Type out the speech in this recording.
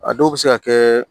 A dɔw bɛ se ka kɛ